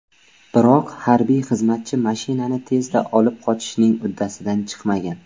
Biroq harbiy xizmatchi mashinani tezda olib qochishning uddasidan chiqmagan.